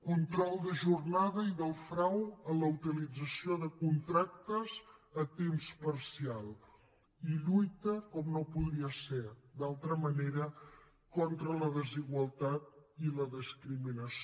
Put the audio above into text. control de jornada i del frau en la utilització de contractes a temps parcial i lluita com no podria ser d’altra manera contra la desigualtat i la discriminació